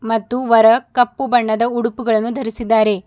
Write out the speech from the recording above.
ಮತ್ತು ವರ ಕಪ್ಪು ಬಣ್ಣದ ಉಡುಪುಗಳನ್ನು ಧರಿಸಿದ್ದಾರೆ.